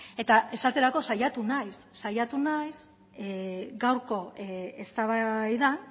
eta esaterako saiatu naiz saiatu naiz gaurko eztabaidan